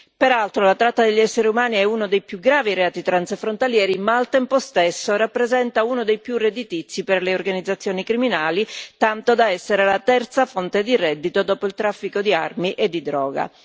Peraltro, la tratta degli esseri umani è uno dei più gravi reati transfrontalieri, ma al tempo stesso rappresenta uno dei più redditizi per le organizzazioni criminali, tanto da essere la terza fonte di reddito dopo il traffico di armi e di droga.